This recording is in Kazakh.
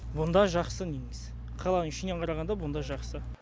бұнда жақсы негізі қаланың ішіне қарағанда бұнда жақсы